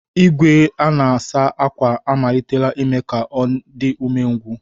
Igwe a na-asa ákwà na-amalite ime ka ọ dị umengwụ